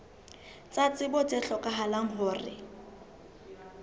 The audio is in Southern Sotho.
tsa tsebo tse hlokahalang ho